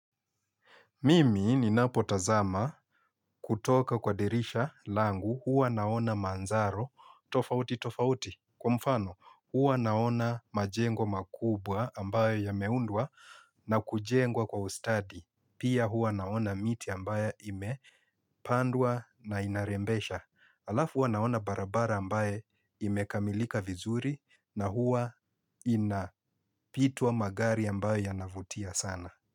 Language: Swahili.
Mimi ninapo tazama kutoka kwa dirisha langu huwa naona manzaro tofauti tofauti kwa mfano huwa naona majengo makubwa ambayo yameundwa na kujengwa kwa ustadi. Pia huwa naona miti ambayo imepandwa na inarembesha. Alafu huwa naona barabara ambaye imekamilika vizuri na huwa inapitwa magari ambayo yanavutia sana.